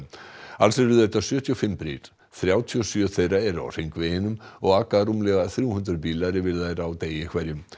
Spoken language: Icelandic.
alls eru þetta sjötíu og fimm brýr þrjátíu og sjö þeirra eru á hringveginum og aka rúmlega þrjú hundruð bílar yfir þær á degi hverjum